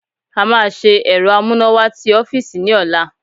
A máa ṣe ẹ̀rọ amúnáwá ti ọ́fíìsì ní ọ̀la